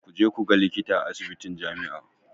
Ku je ku ga likita a asibitin jami'a.